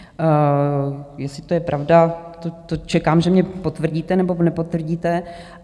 Jestli to je pravda, to čekám, že mně potvrdíte, nebo nepotvrdíte.